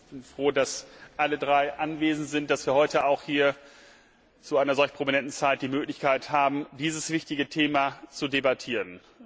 Ich bin froh, dass alle drei anwesend sind und dass wir heute auch zu einer solch prominenten Zeit die Möglichkeit haben, dieses wichtige Thema zu debattieren.